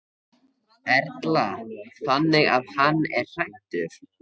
Erla: Þannig að hann er hræddur?